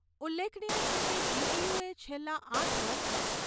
ઉલ્લેખનીય છે કે જી.ટી.યુ. એ છેલ્લા આઠ વર્ષમાં